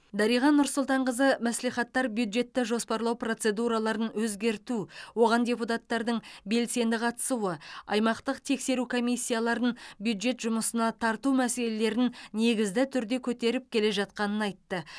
дариға нұрсұлтанқызы мәслихаттықтар бюджетті жоспарлау процедураларын өзгерту оған депутаттардың белсенді қатысуы аймақтық тексеру комиссияларын бюджет жұмысына тарту мәселелерін негізді түрде көтеріп келе жатқанын айтты